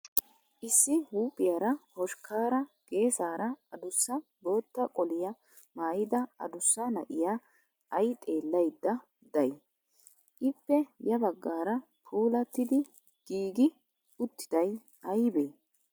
Issi huuphphiyaara hoshkaara gesaara adussa bootta qoliyaa maayyida adussa na"iyaa ayi xeellayidda dayi? Ippe ya baggaara puulattidi giigi uttiday ayiibee?